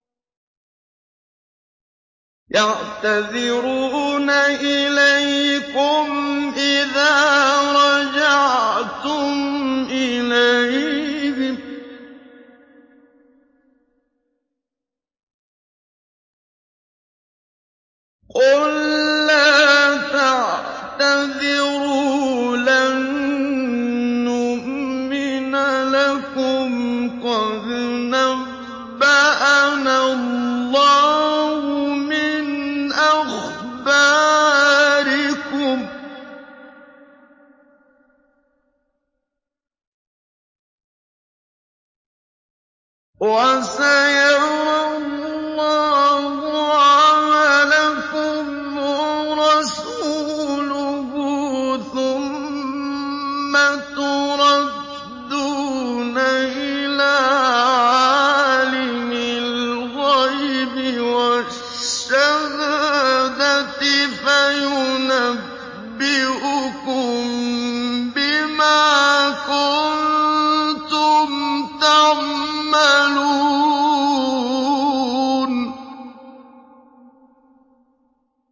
يَعْتَذِرُونَ إِلَيْكُمْ إِذَا رَجَعْتُمْ إِلَيْهِمْ ۚ قُل لَّا تَعْتَذِرُوا لَن نُّؤْمِنَ لَكُمْ قَدْ نَبَّأَنَا اللَّهُ مِنْ أَخْبَارِكُمْ ۚ وَسَيَرَى اللَّهُ عَمَلَكُمْ وَرَسُولُهُ ثُمَّ تُرَدُّونَ إِلَىٰ عَالِمِ الْغَيْبِ وَالشَّهَادَةِ فَيُنَبِّئُكُم بِمَا كُنتُمْ تَعْمَلُونَ